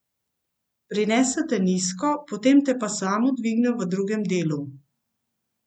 Prinese te nizko, potem te pa samo dviguje v drugem delu.